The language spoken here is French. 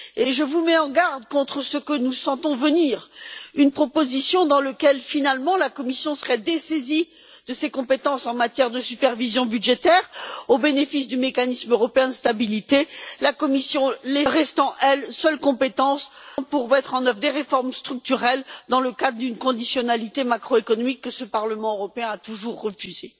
Je vous mets en garde contre ce que nous sentons venir une proposition dans laquelle la Commission serait au final dessaisie de ses compétences en matière de supervision budgétaire au bénéfice du Mécanisme européen de stabilité, la Commission restant, elle, seule compétente pour mettre en œuvre des réformes structurelles dans le cadre d'une conditionnalité macroéconomique que ce Parlement européen a toujours refusée.